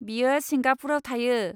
बियो सिंगापुरआव थायो।